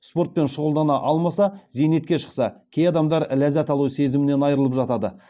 спортпен шұғылдана алмаса зейнетке шықса кей адамдар ләззат алу сезімінен айырылып жатады